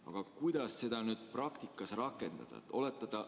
Aga kuidas seda nüüd praktikas rakendada?